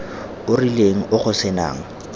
o rileng o go senang